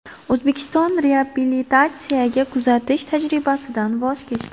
O‘zbekiston reabilitatsiyaga kuzatish tajribasidan voz kechdi .